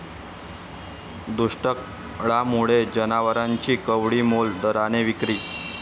दुष्काळामुळे जनावरांची कवडीमोल दराने विक्री